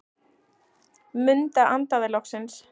Munda andaði loksins.